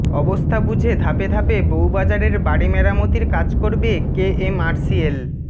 অবস্থা বুঝে ধাপে ধাপে বউবাজারের বাড়ি মেরামতির কাজ করবে কেএমআরসিএল